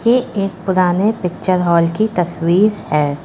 ये एक पुराने पिक्चर हॉल की तस्वीर है।